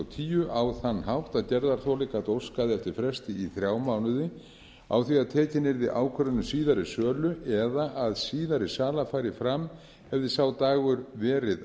tíu á þann hátt að gerðarþoli gat óskað eftir fresti í þrjá mánuði á því að tekin yrði ákvörðun um síðari sölu eða að síðari sala færi fram hefði sá dagur verið